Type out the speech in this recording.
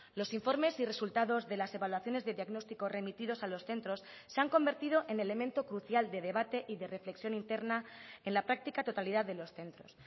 los informes y resultados de las evaluaciones de diagnóstico remitidos a los centros se han convertido en elemento crucial de debate y de reflexión interna en la práctica totalidad de los centros